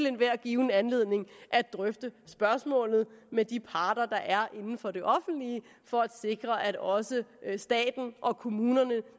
enhver given anledning at drøfte spørgsmålet med de parter der er inden for det offentlige for at sikre at også staten og kommunerne